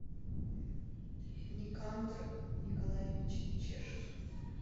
никандр николаевич чешев